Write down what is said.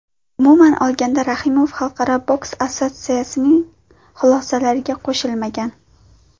Umuman olganda, Rahimov Xalqaro boks assotsiatsiyasining xulosalariga qo‘shilmagan.